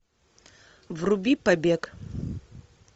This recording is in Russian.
вруби побег